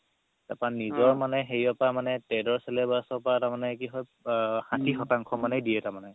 তাৰ পা নিজৰ মানে হেৰিও পা trade ৰ syllabus ৰ পাই তাৰ মানে কি হয় আ ষাঠি শতাংশহে দিয়ে তাৰমানে